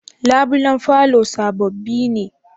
Labulen falo sabobi ne?